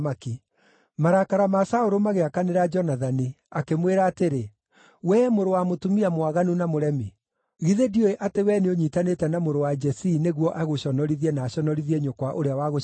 Marakara ma Saũlũ magĩakanĩra Jonathani, akĩmwĩra atĩrĩ, “Wee mũrũ wa mũtumia mwaganu na mũremi! Githĩ ndiũĩ atĩ wee nĩũnyiitanĩte na mũrũ wa Jesii nĩguo agũconorithie na aconorithie nyũkwa ũrĩa wagũciarire?